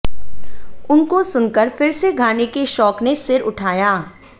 उनको सुनकर फिर से गाने के शौक़ ने सिर उठाया